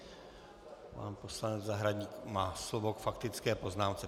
Pan poslanec Zahradník má slovo k faktické poznámce.